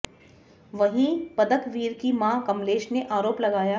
वहीं पदकवीर की मां कमलेश ने आरोप लगाया